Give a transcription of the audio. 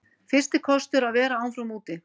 Fyrsti kostur að vera áfram úti